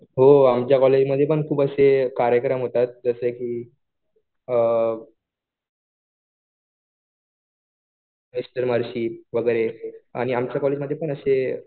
हो आमच्या कॉलेजमध्ये पण खूप असे कार्यक्रम होतात, जसे कि मिस्टर वगैरे आणि आमच्या कॉलेजमध्ये पण असे